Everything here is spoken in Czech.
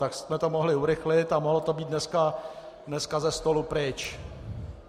Tak jsme to mohli urychlit a mohlo to být dneska ze stolu pryč.